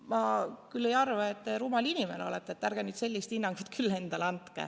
Ma küll ei arva, et te rumal inimene olete, ärge nüüd sellist hinnangut endale andke.